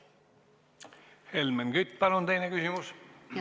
Helmen Kütt, palun teine küsimus!